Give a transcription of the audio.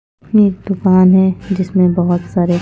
ये दुकान है जिसमें बहुत सारे--